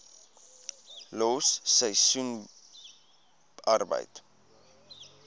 los seisoensarbeid